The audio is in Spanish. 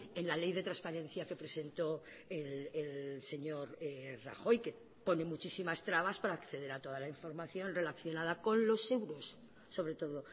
en la ley de transparencia que presentó el señor rajoy que pone muchísimas trabas para acceder a toda la información relacionada con los euros sobre todo